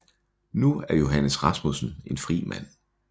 Nu er Johannes Rasmussen en fri mand